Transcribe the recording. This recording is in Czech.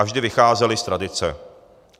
A vždy vycházely z tradice.